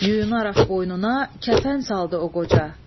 Yuyunaraq boynuna kəfən saldı o qoca.